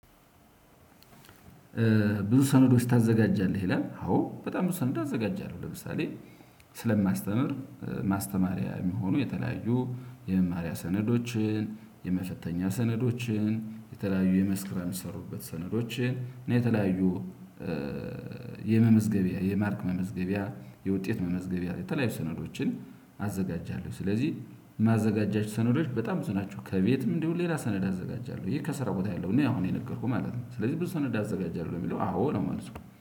ብዙ ሰነዶች ታዘጋጃለህ ይላል አዎ በጣም ብዙ ሰነዶ አዘጋጃለሁ። ለምሳሌ ስለማስተምር ማስተማሪያ የሚሆኑ የተለያዩ የመማሪያ ሰነዶችን የመፈተኛ ሰነዶችን የተለያዩ የመስክ ስራም የሚሰሩበት ሰነዶችን ነው። የተለያዩ የመመዝገቢያ የማርክ መመዝገቢያ የውጤት መመዝገቢያ የተለያዩ ሰነዶችን አዘጋጃለሁ። ስለዚህ ማዘጋጃቸው ሰነዶች በጣም ብዙ ናቸው። ከቤትም እንዲሁ ሌላ ሰነድ አዘጋጃለሁ ይሄ ከስራ ቦታ የለውም። እኔ አሁን የነገርኩህ ማለት ነው። ስለዚህ ብዙ ሰነድ አዘጋጃለሁ የሚለው አዎ ነው መልሱ